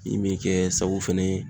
Min be kɛ sababu fɛnɛ